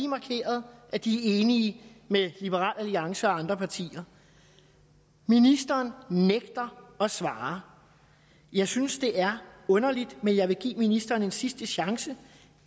markeret at de er enige med liberal alliance og andre partier ministeren nægter at svare jeg synes det er underligt men jeg vil give ministeren en sidste chance